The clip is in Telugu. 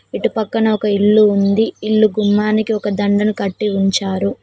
ఇటు పక్కన ఒక ఇల్లు ఉంది ఇల్లు గుమ్మానికి ఒక దండను కట్టి ఉంచారు.